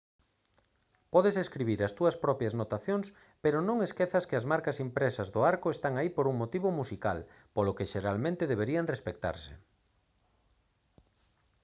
podes escribir as túas propias notacións pero no esquezas que as marcas impresas do arco están aí por un motivo musical polo que xeralmente deberían respectarse